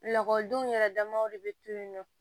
Lakɔlidenw yɛrɛ damaw de bɛ to yen nɔ